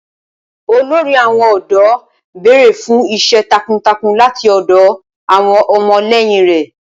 Olórí àwọn ọ̀dọ́ béèrè fún iṣẹ́ takuntakun láti ọ̀dọ̀ àwọn ọmọlẹ́yìn rẹ̀.